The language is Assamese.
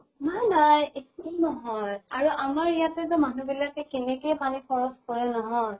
নাই নাই। একোয়ে নহয়। আৰু আমাৰ ইয়াতে ত মানুহ বিলাকে কেনেকে পানী খৰচ কৰে নহয়।